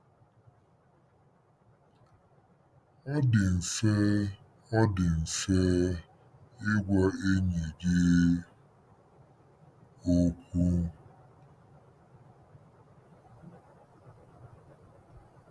Ọ dị mfe Ọ dị mfe ịgwa enyi gị okwu."